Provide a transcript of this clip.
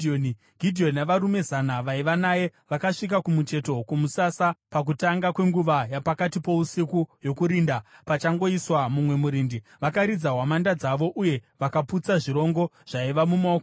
Gidheoni navarume zana vaiva naye vakasvika kumucheto kwomusasa pakutanga kwenguva yapakati pousiku yokurinda, pachangoiswa mumwe murindi. Vakaridza hwamanda dzavo uye vakaputsa zvirongo zvaiva mumaoko avo.